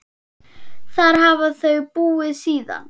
Þar hafa þau búið síðan.